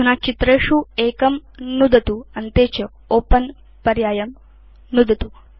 अधुना चित्रेषु एकं नुदतु अन्ते च ओपेन पर्यायं नुदतु